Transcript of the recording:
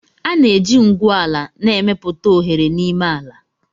A na-eji ngwu ala na-emepụta oghere n'ime ala